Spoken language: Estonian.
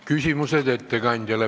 Küsimused ettekandjale.